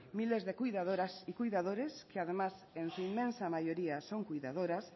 miles de cuidadoras y cuidadores que además en su inmensa mayoría son cuidadoras